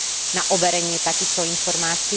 na overenie takýchto informácií?